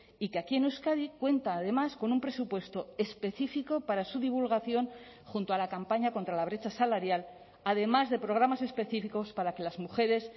y que aquí en euskadi cuenta además con un presupuesto específico para su divulgación junto a la campaña contra la brecha salarial además de programas específicos para que las mujeres